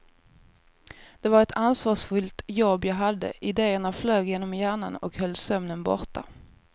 Det var ett ansvarsfyllt jobb jag hade, idéerna flög genom hjärnan och höll sömnen borta.